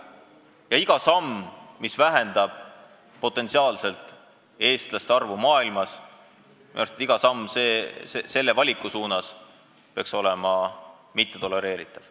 Ja iga samm, mis vähendab potentsiaalselt eestlaste arvu maailmas, iga samm selle valiku suunas peaks olema mittetolereeritav.